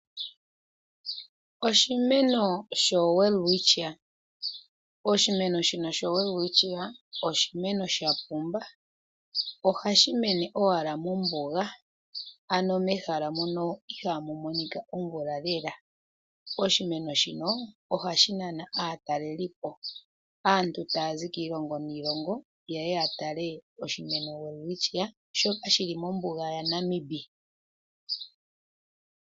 Oshimeno showelwitchia osho oshimeno sha pumba. Ohashi mene owala mombuga, ano mehala mono ihamu monika omvula lela. Oshimeno shino ohashi nana aatelelipo. Aantu taya zi kiilongo niilongo ye ya tale oshimeno shika shi li mombuga yaNamib.